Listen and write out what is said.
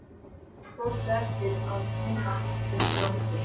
Fólk á eftir að muna eftir okkur